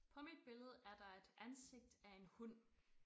På mit billede er det et ansigt af en hund